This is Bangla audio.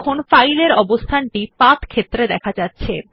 দেখুন ফাইলের অবস্থান টি পাথ ক্ষেত্রে দেখা যাচ্ছে